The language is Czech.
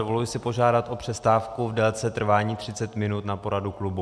Dovoluji si požádat o přestávku v délce trvání 30 minut na poradu klubu.